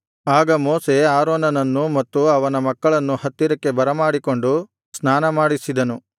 ಆಗ ಮೋಶೆ ಆರೋನನನ್ನು ಮತ್ತು ಅವನ ಮಕ್ಕಳನ್ನು ಹತ್ತಿರಕ್ಕೆ ಬರಮಾಡಿಕೊಂಡು ಸ್ನಾನಮಾಡಿಸಿದನು